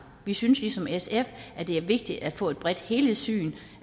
vi synes ligesom sf at det er vigtigt at få et bredt helhedssyn